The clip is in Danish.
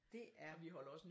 Det er